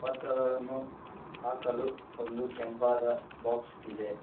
ಪತ್ರಗಳನ್ನು ಹಾಕಲು ಒಂದು ಕೆಂಪಾದ ಬಾಕ್ಸ್ ಇದೆ.